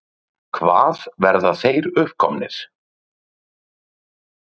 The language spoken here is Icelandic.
Hvað verða þeir uppkomnir?